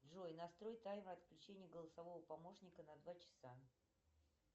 джой настрой таймер отключения голосового помощника на два часа